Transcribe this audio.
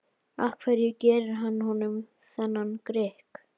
Af hverju gerir hann honum þennan grikk?